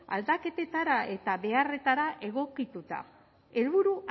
aldaketetara eta beharretara egokituta helburu